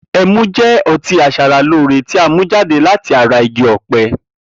E̩mu jé̩ o̩tí as̩aralóore tí a mú jáde láti ara igi ò̩pe̩